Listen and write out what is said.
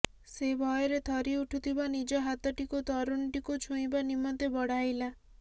ସେ ଭୟରେ ଥରି ଉଠୁଥିବା ନିଜ ହାତଟିକୁ ତରୁଣୀଟିକୁ ଛୁଇଁବା ନିମନ୍ତେ ବଢ଼ାଇଲା